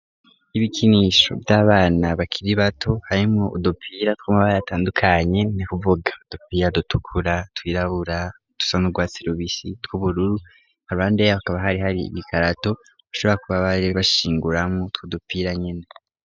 Ibikinisho vy'abana bakiri bato, harimwo udupira tw'amabara atandukanye, ni kuvuga udupira dutukura, twirabura, dusa n'urwatsi rubisi, tw'ubururu, haruhande y'aho hakaba hari hari igikarato, bashobora kuba bashinguramwo utwo dupira nyene.